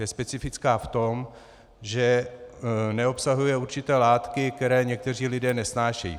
Je specifická v tom, že neobsahuje určité látky, které někteří lidé nesnášejí.